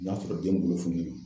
U nana sɔrɔ den bolo funulen don.